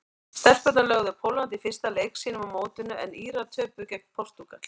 Stelpurnar lögðu Pólland í fyrsta leik sínum á mótinu en Írar töpuðu gegn Portúgal.